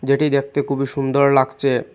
যেটি দেখতে খুবই সুন্দর লাগচে ।